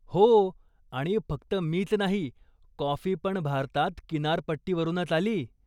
हो, आणि फक्त मीच नाही, कॉफीपण भारतात किनारपट्टीवरूनच आली.